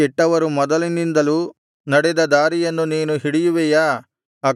ಕೆಟ್ಟವರು ಮೊದಲಿನಿಂದಲೂ ನಡೆದ ದಾರಿಯನ್ನು ನೀನು ಹಿಡಿಯುವಿಯಾ